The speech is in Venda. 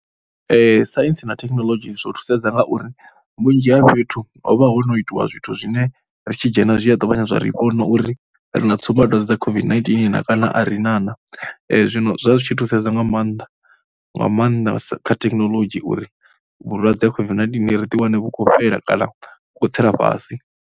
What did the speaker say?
[um Saintsi na thekhinolodzhi zwo thusedza ngauri vhunzhi ha fhethu ho vha ho no itiwa zwithu zwine ri tshi dzhena zwi a ṱavhanya zwa ri vhona uri ri na tsumbadwadze dza COVID-19 na kana a ri na na. Zwino zwa zwi tshi thusedza nga maanḓa, nga maanḓa kha thekinoḽodzhi uri vhulwadze ha COVID-19 ri ḓiwane vhu khou fhela kana vhu khou tsela fhasi.